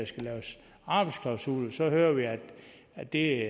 skal laves arbejdsklausuler så hører vi at det